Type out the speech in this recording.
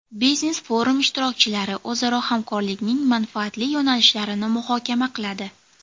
Biznes-forum ishtirokchilari o‘zaro hamkorlikning manfaatli yo‘nalishlarini muhokama qiladi.